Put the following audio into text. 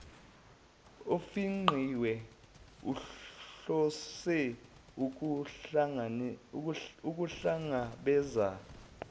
ofingqiwe uhlose ukuhlangabeza